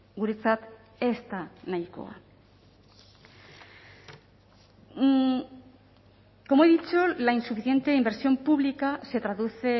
guretzat ez da nahikoa como he dicho la insuficiente inversión pública se traduce